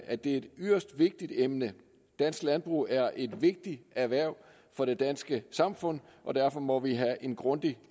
at det er et yderst vigtigt emne dansk landbrug er et vigtigt erhverv for det danske samfund og derfor må vi have en grundig